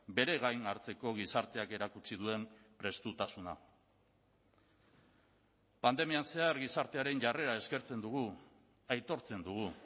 bere gain hartzeko gizarteak erakutsi duen prestutasuna pandemian zehar gizartearen jarrera eskertzen dugu aitortzen dugu